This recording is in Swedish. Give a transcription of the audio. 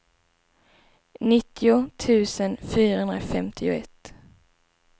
nittio tusen fyrahundrafemtioett